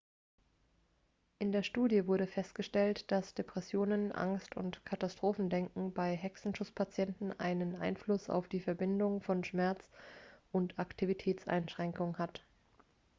in der studie wurde festgestellt dass depressionen angst und katastrophendenken bei hexenschusspatienten einen einfluss auf die verbindung von schmerz und aktivitätseinschränkung hat